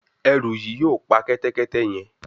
Eru yí yóò pá Kẹ́tẹ́kẹ́tẹ́ yén.